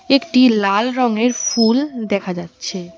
একটি লাল রঙের ফুল দেখা যাচ্ছে।